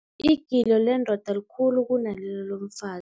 Igilo lendoda likhulu kunalelo lomfazi.